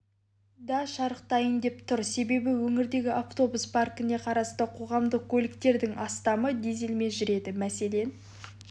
да шарықтайын деп тұр себебі өңірдегі автобус паркіне қарасты қоғамдық көліктердің астамы дизелмен жүреді мәселен